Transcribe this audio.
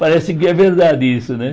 Parece que é verdade isso, né?